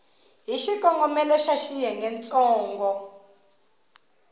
hi xikongomelo xa xiyenge ntsongo